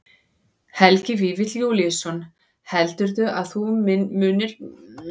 Helgi Vífill Júlíusson: Heldurðu að þú munir nýta þér þetta eitthvað?